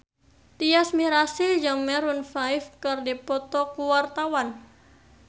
Tyas Mirasih jeung Maroon 5 keur dipoto ku wartawan